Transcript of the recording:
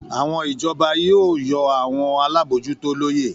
Àwọn ìjọba yóò yọ àwọn alábòójútó lóye